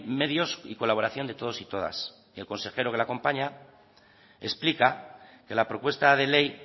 medios y colaboración de todos y todas el consejero que le acompaña explica que la propuesta de ley